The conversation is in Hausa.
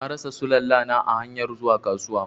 Na rasa Sulalla na a hanyar zuwa kasuwa.